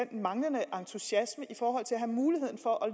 den manglende entusiasme i forhold til at have muligheden for at